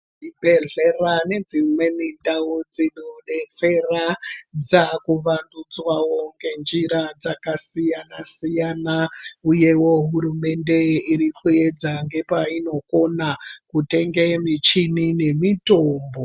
Zvibhedhlera nedzimweni ndau dzinodetsera ngenjira dzakasiyana siyana uyewo hurumende iri kupedza nepainokona kutenga michini nemitombo.